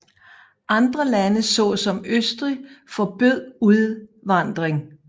Andre lande såsom Østrig forbød udvandring